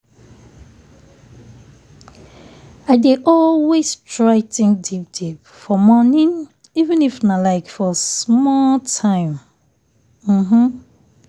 i dey always try think deep deep for morning even if nah like for small time.